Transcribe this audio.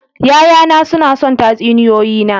Ya'yana suna son tatsuniyoyi na.